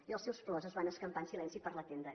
i els seus plors es van escampar en silenci per la tenda